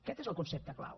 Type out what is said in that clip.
aquest és el concepte clau